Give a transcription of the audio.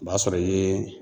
O b'a sɔrɔ i ye